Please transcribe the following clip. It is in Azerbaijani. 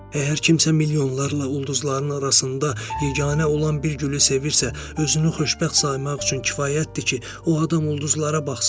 Əgər kimsə milyonlarla ulduzların arasında yeganə olan bir gülü sevirsə, özünü xoşbəxt saymaq üçün kifayətdir ki, o adam ulduzlara baxsın.